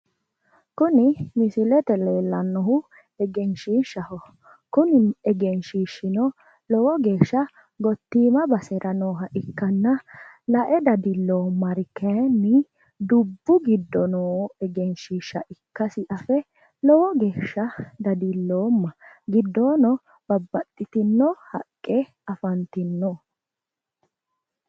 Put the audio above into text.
Kuni misilete leellannohu egenshiishshaho. Kuni egenshiishshino lowo geeshsha gottiima basera nooha ikkanna lae dadilloommari kayinni dubbu giddo noo egenshiishsha ikkasi afe lowo geeshsha dadilloomma. Giddoono babbaxxitino haqqe afantino.